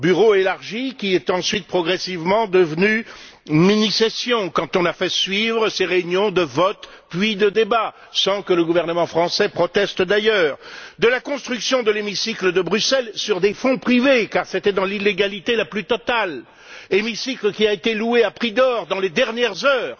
Bureau élargi qui est ensuite progressivement devenu mini session, quand on a fait suivre ces réunions de votes puis de débats, sans que le gouvernement français ne proteste, d'ailleurs, et que l'on a construit l'hémicycle de Bruxelles sur des fonds privés, car c'était dans l'illégalité la plus totale hémicycle qui a été loué à prix d'or dans les dernières heures